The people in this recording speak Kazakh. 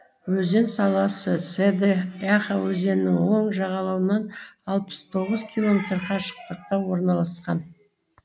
өзен сағасы седэ яха өзенінің оң жағалауынан алпыс тоғыз километр қашықтықта орналасқан